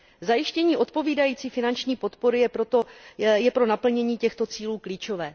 Zajištění odpovídající finanční podpory je pro naplnění těchto cílů klíčové.